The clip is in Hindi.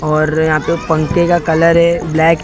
और यहाँ पे पंखे का कलर है ब्लैक --